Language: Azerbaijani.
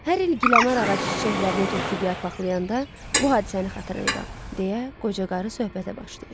Hər il gilenar ağacı çiçəklərini töküb yarpaqlayanda, bu hadisəni xatırlayıram, deyə qoca qarı söhbətə başlayır.